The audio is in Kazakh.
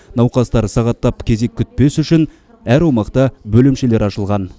науқастар сағаттап кезек күтпес үшін әр аумақта бөлімшелері ашылған